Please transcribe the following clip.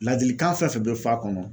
Ladilikan fɛn fɛn bɛ f'a kɔnɔ